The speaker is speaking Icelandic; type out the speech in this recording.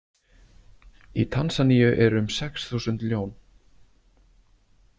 Í Tansanía eru um sex þúsund ljón.